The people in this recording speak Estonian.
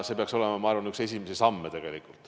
See peaks olema üks esimesi samme.